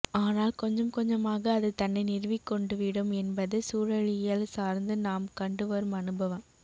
ஆனால் கொஞ்சம் கொஞ்சமாக அது தன்னை நிறுவிக்கொண்டுவிடும் என்பது சூழலியல் சார்ந்து நாம் கண்டுவரும் அனுபவம்